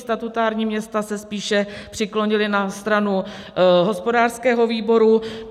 Statutární města se spíše přiklonila na stranu hospodářského výboru.